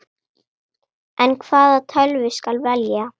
En hvaða tölvu skal velja?